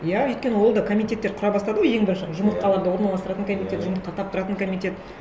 иә өйткені ол да комитеттер құра бастады ғой ең бірінші жұмыртқаларды орналастыратын комитет жұмыртқа таптыратын комитет